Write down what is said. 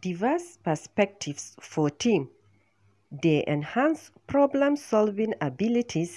Diverse perspectives for team dey enhance problem-solving abilities